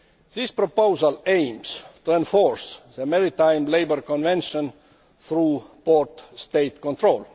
The proposal aims to enforce the Maritime Labour Convention through port State control.